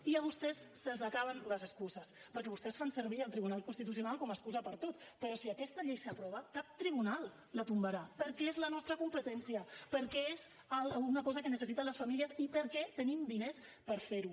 i a vostès se’ls acaben les excuses perquè vostès fan servir el tribunal constitucional com a excusa per a tot però si aquesta llei s’aprova cap tribunal la tombarà perquè és la nostra competència perquè és una cosa que necessiten les famílies i perquè tenim diners per ferho